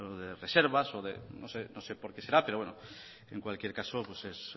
de reservas o de no sé por qué será pero bueno en cualquier caso es